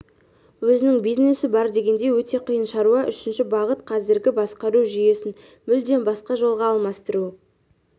өзінің бизнесі бар дегендей өте қиын шаруа үшінші бағыт қазіргі басқару жүйесін мүлдем басқа жолға алмастыру